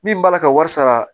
Min b'a ka wari sara